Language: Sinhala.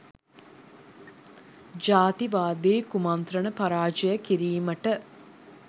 ජාතිවාදී කුමන්ත්‍රණ පරාජය කිරීමට